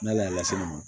N'ale y'a lasegin ma